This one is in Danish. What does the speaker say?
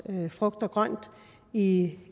frugt og grønt i